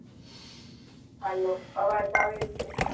hello અવાજ આવે છે